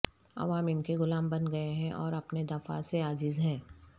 عوام ان کے غلام بن گئے ہیں اور اپنے دفاع سے عاجز ہیں